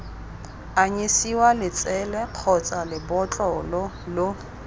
anyisiwa letsele kgotsa lebotlolo lo